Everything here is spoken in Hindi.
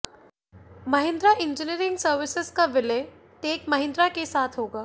महिंद्रा इंजीनियरिंग सर्विसेज का विलय टेक महिंद्रा के साथ होगा